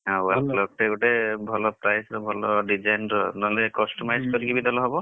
ଆଉ wall clock ଟେ ଗୋଟେ ଭଲ price ର ଭଲ design ର ନହେଲେ customize କରିକି ବି ଦେଲେ ହବ।